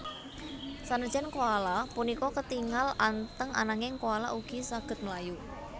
Sanajan koala punika ketingal anteng ananging koala ugi saged mlayu